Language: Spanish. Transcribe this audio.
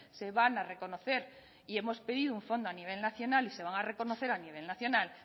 se van a reconocer y hemos pedido un fondo a nivel nacional y se van a reconocer a nivel nacional